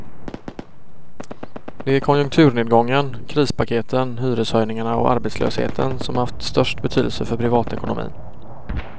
Det är konjunkturnedgången, krispaketen, hyreshöjningarna och arbetslösheten som haft störst betydelse för privatekonomin.